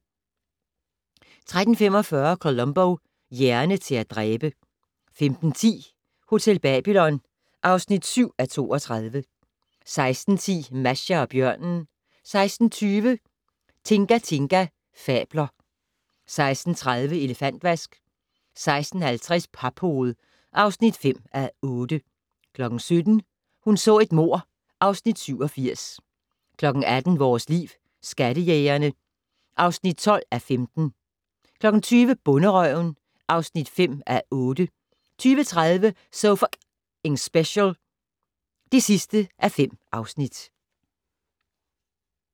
13:45: Columbo: Hjerne til at dræbe 15:10: Hotel Babylon (7:32) 16:10: Masha og bjørnen 16:20: Tinga Tinga fabler 16:30: Elefantvask 16:50: Paphoved (5:8) 17:00: Hun så et mord (Afs. 87) 18:00: Vores Liv: Skattejægerne (12:15) 20:00: Bonderøven (5:8) 20:30: So F***ing Special (5:5)